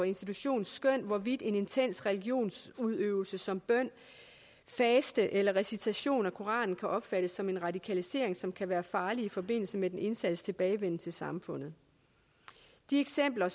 institution hvorvidt en intens religionsudøvelse som bøn faste eller recitation af koranen kan opfattes som en radikalisering som kan være farlig i forbindelse med den indsattes tilbagevenden til samfundet de eksempler